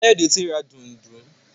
Kayode t'in rà Dùndú.